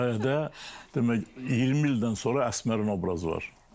O hekayədə demək 20 ildən sonra Əsmərin obrazı var.